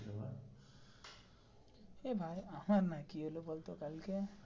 এ ভাই রে আমার না কি হলো বলতো কালকে.